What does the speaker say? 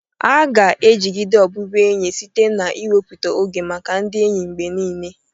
A ga-ejigide ọbụbụenyi site n'iwepụta oge maka ndị enyi mgbe niile.